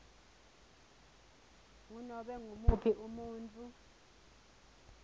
ngunobe ngumuphi umuntfu